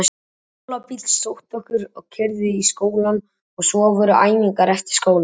Skólabíll sótti okkur og keyrði í skólann og svo voru æfingar eftir skóla.